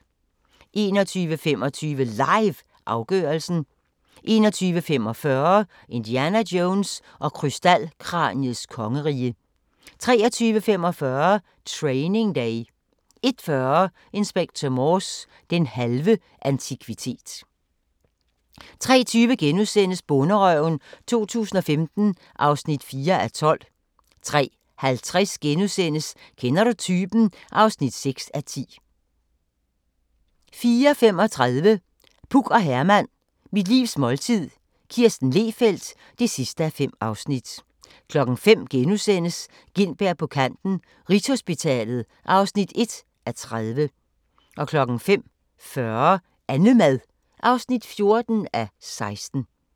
21:25: LIVE – afgørelsen 21:45: Indiana Jones og krystalkraniets kongerige 23:45: Training Day 01:40: Inspector Morse: Den halve antikvitet 03:20: Bonderøven 2015 (4:12)* 03:50: Kender du typen? (6:10)* 04:35: Puk og Herman – Mit livs måltid – Kirsten Lehfeldt (5:5) 05:00: Gintberg på kanten - Rigshospitalet (1:30)* 05:40: Annemad (14:16)